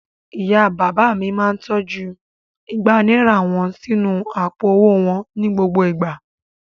Ìyá-bàbá mi máa tọ́jú igba náírà wọn sínú àpò-owó wọn ní gbogbo ìgbà.